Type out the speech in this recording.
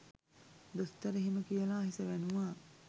දොස්තර එහෙම කියලා හිස වැනුවා.